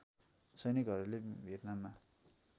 सैनिकहरूले भियतनाममा